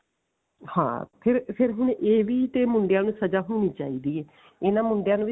ਹਾਂ ਫ਼ੇਰ ਫ਼ੇਰ ਹੁਣ ਇਹ ਵੀ ਤੇ ਮੁੰਡਿਆਂ ਨੂੰ ਸਜ਼ਾ ਹੋਣੀ ਚਾਹੀਦੀ ਹੈ ਇਹਨਾਂ ਮੁੰਡਿਆਂ ਨੂੰ ਵੀ